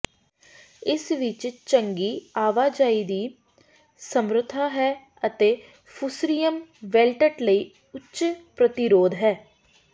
ਇਸ ਵਿੱਚ ਚੰਗੀ ਆਵਾਜਾਈ ਦੀ ਸਮਰੱਥਾ ਹੈ ਅਤੇ ਫੁਸਰਿਅਮ ਵੈਲਟਟ ਲਈ ਉੱਚ ਪ੍ਰਤੀਰੋਧ ਹੈ